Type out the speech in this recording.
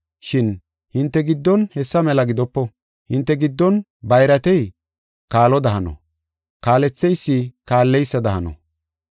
Shin hinte giddon hessa mela gidopo. Hinte giddon bayratey kaaloda hano; kaaletheysi kaalleysada hano.